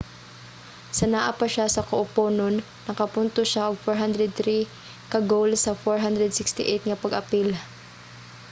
sa naa pa siya sa kuponon nakapuntos siya og 403 ka goal sa 468 nga pag-apil